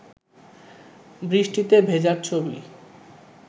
বৃষ্টিতে ভেজার ছবি